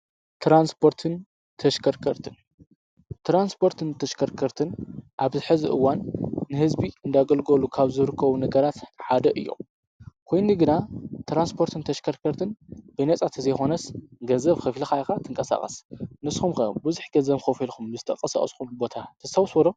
ተራንስፖርትን ተሽከርከርትን ኣብሕዝእዋን ንሕዝቢ እንዳገልጎሉ ካብ ዝርኮቡ ነገራት ሓደ እዮም። ኮይኒ ግና ተራንስጶርትን ተሽከርከርትን ብነጻተዘይኾነስ ገዘብ ኽፊልኻይኻ ትንቀሳቐስ ንስምከ ብዚኅ ገዘም ኮፊልኹም ምዝተቐሣኣስኹም ቦታ ተስታውስዎዶ?